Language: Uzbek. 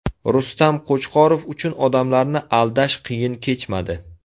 Rustam Qo‘chqorov uchun odamlarni aldash qiyin kechmadi.